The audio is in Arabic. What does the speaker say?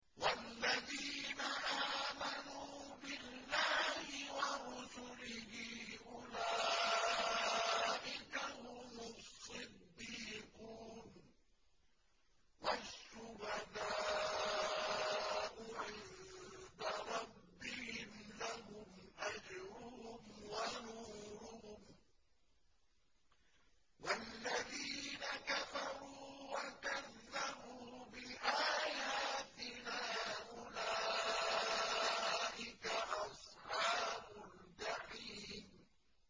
وَالَّذِينَ آمَنُوا بِاللَّهِ وَرُسُلِهِ أُولَٰئِكَ هُمُ الصِّدِّيقُونَ ۖ وَالشُّهَدَاءُ عِندَ رَبِّهِمْ لَهُمْ أَجْرُهُمْ وَنُورُهُمْ ۖ وَالَّذِينَ كَفَرُوا وَكَذَّبُوا بِآيَاتِنَا أُولَٰئِكَ أَصْحَابُ الْجَحِيمِ